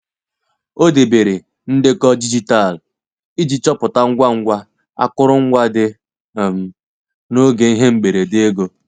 O debere ndekọ dijitalụ iji chọpụta ngwa ngwa akụrụngwa dị um n'oge ihe mberede ego.